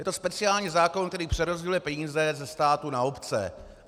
Je to speciální zákon, který přerozděluje peníze ze státu na obce.